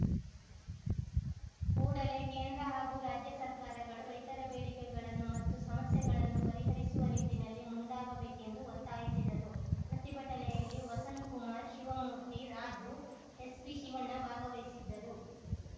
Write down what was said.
ಕೂಡಲೇ ಕೇಂದ್ರ ಹಾಗೂ ರಾಜ್ಯ ಸರ್ಕಾರಗಳು ರೈತರ ಬೇಡಿಕೆಗಳನ್ನು ಮತ್ತು ಸಮಸ್ಯೆಗಳನ್ನು ಪರಿಹರಿಸುವ ನಿಟ್ಟಿನಲ್ಲಿ ಮುಂದಾಗಬೇಕೆಂದು ಒತ್ತಾಯಿಸಿದರು ಪ್ರತಿಭಟನೆಯಲ್ಲಿ ವಸಂತಕುಮಾರ್‌ ಶಿವಮೂರ್ತಿ ರಾಜು ಎಸ್‌ಪಿಶಿವಣ್ಣ ಭಾಗವಹಿಸಿದ್ದರು